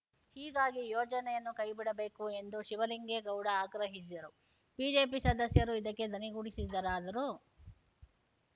ಹೀಗಾಗಿ ಯೋಜನೆಯನ್ನು ಕೈಬಿಡಬೇಕು ಎಂದು ಶಿವಲಿಂಗೇಗೌಡ ಆಗ್ರಹಿಸಿದರು ಬಿಜೆಪಿ ಸದಸ್ಯರು ಇದಕ್ಕೆ ಧ್ವನಿಗೂಡಿಸಿದರಾದರೂ